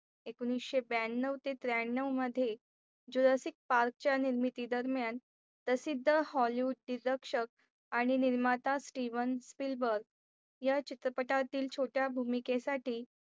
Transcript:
एकोनिशे ब्याण्णव ते त्र्याण्णव मध्ये रसिक पार्कच्या निर्मिती दरम्यान प्रसिद्ध Hollywood deduction आणि निर्माता Steven Steel Burk या चित्रपटातील छोट्या भूमिकेसाठी